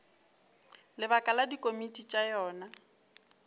lebaka la dikomiti tša yona